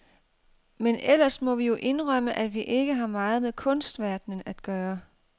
Men ellers må vi jo indrømme, at vi ikke har meget med kunstverdenen at gøre.